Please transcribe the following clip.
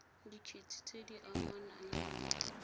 dikgetse tse di amanang le